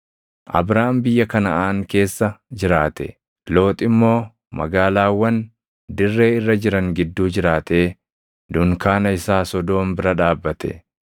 Abraam biyya Kanaʼaan keessa jiraate; Loox immoo magaalaawwan dirree irra jiran gidduu jiraatee dunkaana isaa Sodoom bira dhaabbate.